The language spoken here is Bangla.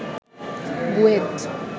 বুয়েট